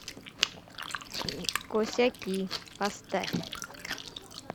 косяки поставь